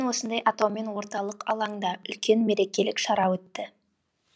осындай атаумен орталық алаңда үлкен мерекелік шара өтті